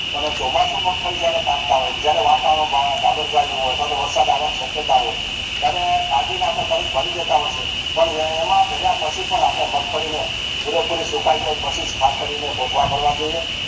ચોમાસુ મગફળી જયારે કાપતા હોઈએ જયારે વાતાવરણ ગબડગાયુ હોય અથવા તો વરસાદ આવાની શક્યતા હોય ત્યારે ભરી જતા હોય છે પણ એમાં ભલા પછી પણ આપણે મગફળી ને પુરેપુરી સુકાય જાય પછી જ ખાસ કરી ને કોથળા ભરવા જોઈએ